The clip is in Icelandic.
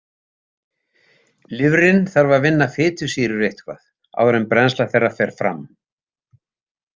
Lifrin þarf að vinna fitusýrur eitthvað áður en brennsla þeirra fer fram.